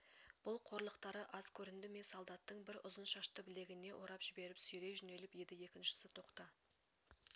бұл қорлықтары аз көрінді ме солдаттың бір ұзын шашты білегіне орап жіберіп сүйрей жөнеліп еді екіншісі тоқта